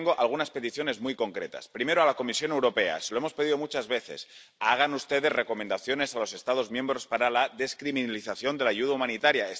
Yo tengo algunas peticiones muy concretas. Primero, a la Comisión Europea. Se lo hemos pedido muchas veces hagan ustedes recomendaciones a los Estados miembros para la descriminalización de la ayuda humanitaria.